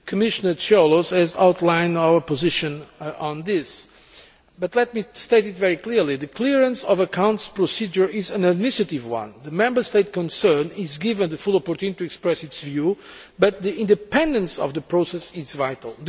Commissioner Cioloş has outlined our position on this, but let me state very clearly that the clearance of accounts procedure is an administrative one. The Member State concerned is given a full opportunity to express its view, but the independence of the process is vital.